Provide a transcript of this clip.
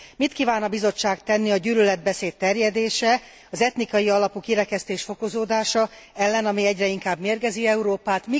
Mit kíván a Bizottság tenni a gyűlöletbeszéd terjedése, az etnikai alapú kirekesztés fokozódása ellen, ami egyre inkább mérgezi Európát?